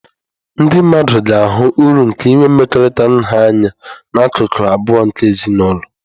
Ndị mmadụ ga-ahụ uru nke inwe mmekọrịta nha anya na akụkụ abụọ nke ezinụlọ.